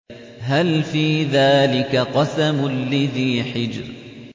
هَلْ فِي ذَٰلِكَ قَسَمٌ لِّذِي حِجْرٍ